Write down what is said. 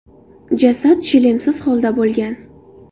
Jasad shlemsiz holda bo‘lgan.